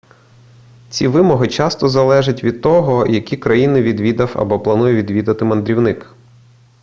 ці вимоги часто залежать від того які країни відвідав або планує відвідати мандрівник